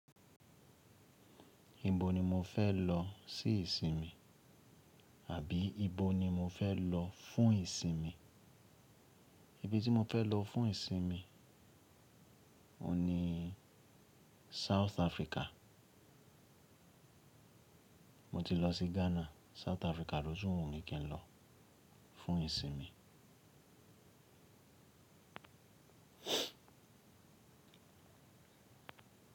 Ibo ni mo fẹ́ lọ sí ìsinmi? Àbí ibo ni mo fẹ́ lọ fún ìsinmi? Ibi tí mo fẹ́ lọ fún ìsinmi oun ni South Africa. Mo ti lọ sí Ghana, South Africa ló tún wun mi kí n lọ fún ìsinmi.